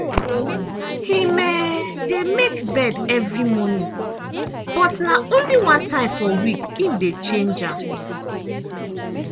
him um dey make bed evri morning but na only one time for week him dey dey change am.